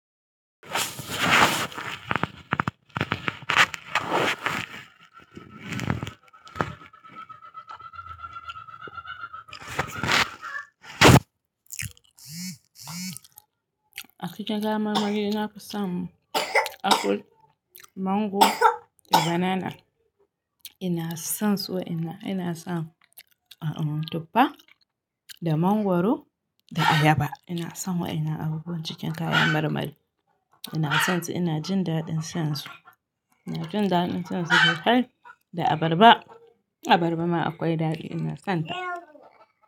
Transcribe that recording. A cikin kayan marmari na fisan apple, mango da banana. Ina son su waƴanan, ina son tuffa da mangwaro da ayaba. Ina son wa'yannan abubuwan cikin kayan marmari. Ina son su, ina jin daɗin shan su. Ina jin daɗin shan su sosai da abarba. Abarba ma akwai daɗi ina son ta.